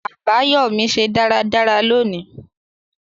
Àbáyọ́mí se dáradára loni